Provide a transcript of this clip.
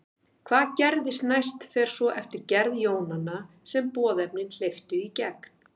Hvað gerist næst fer svo eftir gerð jónanna sem boðefnin hleyptu í gegn.